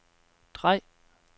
drej